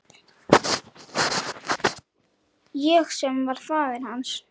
Ég sem var faðir hans.